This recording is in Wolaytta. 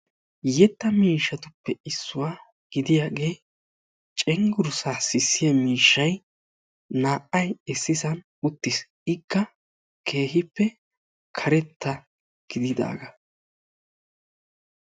yetta miishay naa"ay issi sohuwani uttisi hegekka karetta gididi cengurra xoqisidi sisanaw maadeesi.